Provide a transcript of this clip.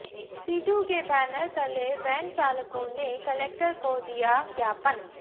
situ के banner तले van चालकों ने कलेक्टर को दिया ज्ञापन